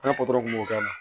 An ka kun b'o k'a la